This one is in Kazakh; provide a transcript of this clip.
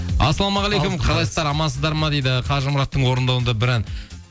ассалаумағалейкум қалайсыздар амансыздар ма дейді қажымұраттың орындауында бір ән